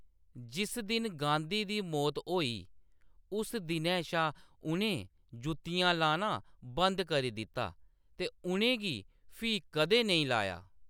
जिस दिन गांधी दी मौत होई उस दिनै शा उʼनें जुत्तियां लाना बंद करी दित्ता ते उʼनें गी फ्ही कदें नेईं लाया।